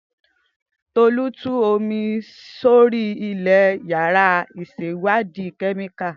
Tolu tú omi sórí ilẹ̀ yàrá ìṣèwádìí kẹ́míkà.